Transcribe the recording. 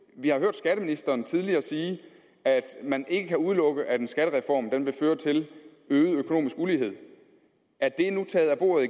vi har hørt skatteministeren tidligere sige at man ikke kan udelukke at en skattereform vil føre til øget økonomisk ulighed er det nu taget af bordet